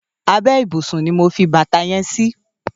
Àbè ibúsún ni mó fi bàtá yèn si